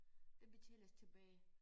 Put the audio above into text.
Det betaler os tilbage